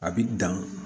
A bi dan